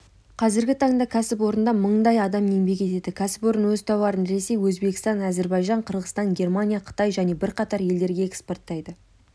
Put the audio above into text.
қазіргі таңда кәсіпорында мыңдай адам еңбек етеді кәсіпорын өз тауарын ресей өзбекстан әзербайжан қырғызстан германия қытай және бірқатар елдерге экспорттайды